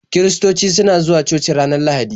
Kiristoci suna zuwa coci ranar lahadi